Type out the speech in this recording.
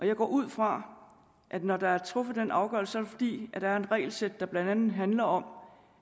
jeg går ud fra at når der er truffet den afgørelse er det fordi der er et regelsæt der blandt andet handler om